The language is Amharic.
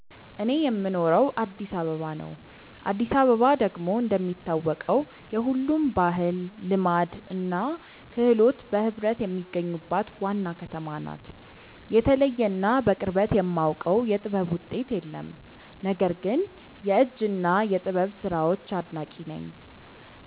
እኔ የምኖረው አዲስ አበባ ነው። አዲስ አበባ ደግሞ እንደሚታወቀው የሁሉም ባህል፣ ልማድ እና ክህሎት በህብረት የሚገኙባት ዋና ከተማ ናት። የተለየ እና በቅርበት የማውቀው የጥበብ ውጤት የለም። ነገር ግን የእጅ እና የጥበብ ስራዎች አድናቂ ነኝ።